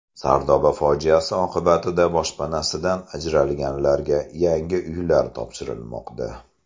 Sardoba fojiasi oqibatida boshpanasidan ajralganlarga yangi uylar topshirilmoqda.